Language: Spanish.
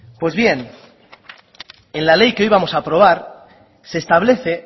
pues bien en la ley que hoy vamos a aprobar se establece